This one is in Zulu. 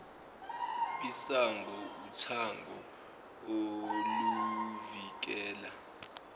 isango uthango oluvikela